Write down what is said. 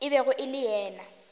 e bego e le ya